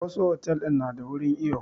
Wassu otel din na da wajen iyo